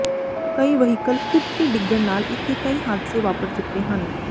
ਕਈ ਵਹੀਕਲ ਖੁੱਭ ਕੇ ਡਿਗਣ ਨਾਲ ਇਥੇ ਕਈ ਹਾਦਸੇ ਵਾਪਰ ਚੁੱਕੇ ਹਨ